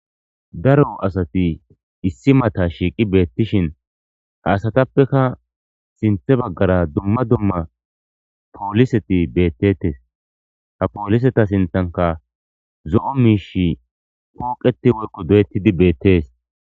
Daro asati issi mata shiqi betishe ha asatapeka sinte bagara duma duma poliseti betetes ha poliseta sintanka zo'o mishi poqeti woyko doyetidi betes.